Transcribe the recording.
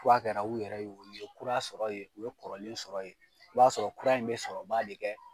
Kura kɛra i yɛrɛ y'o ye kura sɔrɔ ye u bɛ kɔrɔlen sɔrɔ ye. I b'a sɔrɔ kura in bɛ sɔrɔba de kɛ